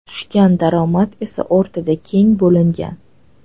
Tushgan daromad esa o‘rtada teng bo‘lingan.